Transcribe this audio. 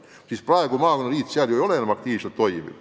Jõgeval näiteks maakonnaliit ju enam aktiivselt toimiv ei ole.